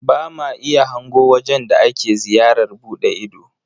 Ba ma iya hango wajen da ake ziyarar buɗe ido.